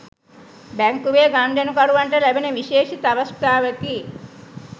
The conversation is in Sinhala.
බැංකුවේ ගනුදෙනුකරුවන්ට ලැබෙන විශේෂිත අවස්ථාවකි.